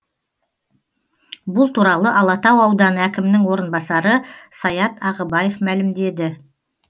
бұл туралы алатау ауданы әкімінің орынбасары саят ағыбаев мәлімдеді